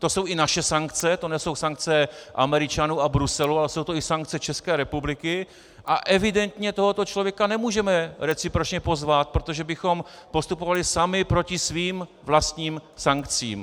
To jsou i naše sankce, to nejsou sankce Američanů a Bruselu, ale jsou to i sankce České republiky, a evidentně tohoto člověka nemůžeme recipročně pozvat, protože bychom postupovali sami proti svým vlastním sankcím.